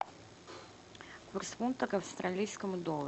курс фунта к австралийскому доллару